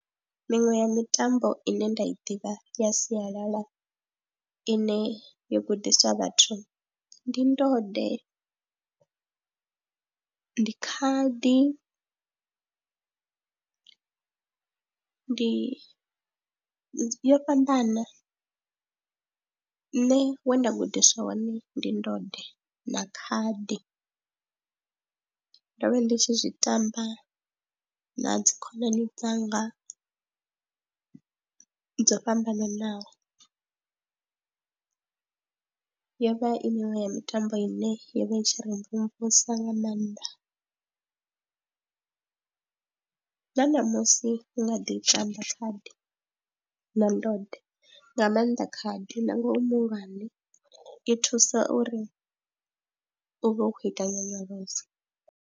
Miṅwe ya mitambo ine nda i ḓivha ya sialala ine yo gudisa vhathu ndi ndode, ndi khadi, ndi yo fhambana, nṋe we nda gudiswa hone ndi ndode na khadi, ndo vha ndi tshi zwi tamba na dzi khonani dzanga dzo fhambananaho, yo vha i miṅwe ya mitambo ine yo vha i tshi ri mvumvusa nga maanḓa na ṋamusi u nga ḓi i tamba khadi na ndode nga maanḓa khadi nangwe u mu muhulwane i thusa uri u vhe u khou ita nyonyoloso.